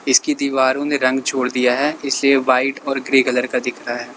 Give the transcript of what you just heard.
इसकी दीवारों ने रंग छोड़ दिया है इस लिए वाइट और ग्रे कलर का दिख रहा है।